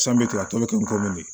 a tɔ bɛ kɛ